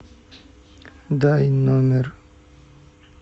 дай номер